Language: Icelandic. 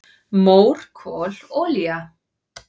"""Mór, kol, olía"""